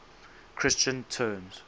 christian terms